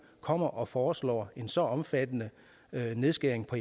kommer og foreslår en så omfattende nedskæring på